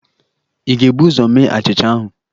Ị ga-ebu ụzọ mee achịcha ahụ?